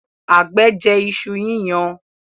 àgbẹ̀ jẹ iṣu yíyan.